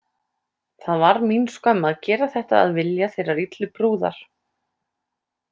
Það var mín skömm að gera þetta að vilja þeirrar illu brúðar.